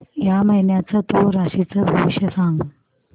या महिन्याचं तूळ राशीचं भविष्य सांग